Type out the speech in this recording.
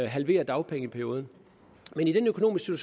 halvere dagpengeperioden men i den økonomiske